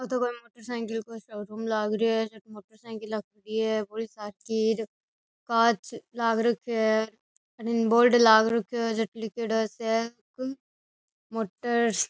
आतो कोई motor cycle का शोरूम लाग रेहो है मोटर सायकिला खड़ी है बड़ी सार की और कांच लाग रखयो है अठीन बोर्ड लाग रखयो है जेपे लीखेड़ो है मोटर्स ।